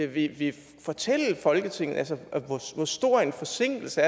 ville fortælle folketinget hvor stor en forsinkelse